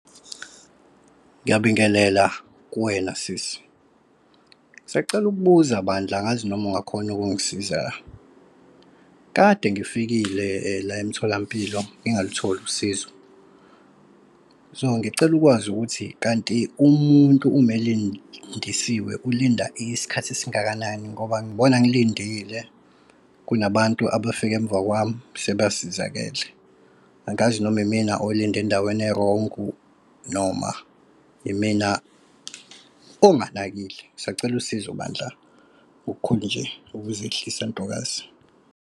Ngiyabingelela kuwena sisi, ngisacela ukubuza bandla, angazi noma ungakhona ukungisiza la. Kade ngifikile la emtholampilo ngingalutholi usizo. So ngicela ukwazi ukuthi kanti umuntu, ume lindisiwe ulinda isikhathi esingakanani ngoba ngibona ngilindile kunabantu abafike emva kwami sebasizakele. Angazi noma imina olinde endaweni ewrong noma imina onganakile. Bengisacela usizo bandla ngokukhulu nje ukuzehlisa ntokazi.